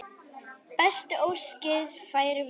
Bestu óskir færum við.